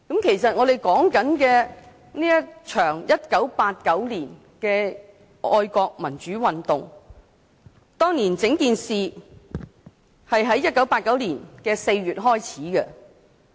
其實，這場1989年的愛國民主運動，是在1989年4月開始的。